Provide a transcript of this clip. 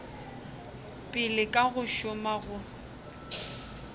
pele ka go šoma go